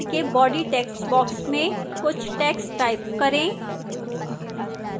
3rd slide के body textbox में कुछ text type करें